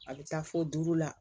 A bɛ taa fo duuru la